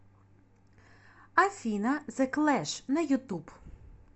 афина зэ клэш на ютуб